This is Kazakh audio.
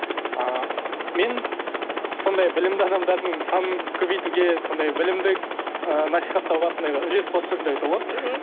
ы мен сондай білімді адамдардың санын көбейтуге сондай білімді ы насихаттауға сондай үлес қосып жүрмін деп айтуға болады мхм